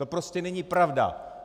To prostě není pravda.